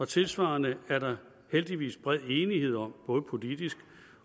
tilsvarende er der heldigvis bred enighed om både politisk